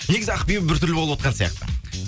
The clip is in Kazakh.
негізі ақбибі бір түрлі болып отырған сияқты